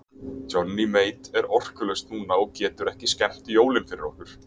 Johnny Mate er orkulaus núna og getur ekki skemmt jólin fyrir okkur.